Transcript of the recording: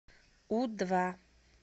у два